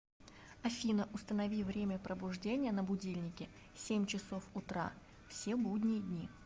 афина установи время пробуждения на будильнике семь часов утра все будние дни